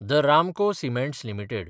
the Ramco cements limited